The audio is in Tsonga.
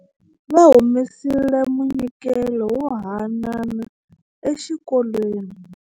Va humesile munyikelo wo haanana exikolweni.